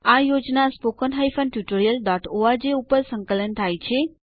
આ project httpspoken tutorialorg દ્વારા સંકલન થાય છે